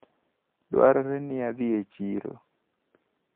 Dwarore ni adhi e chiro.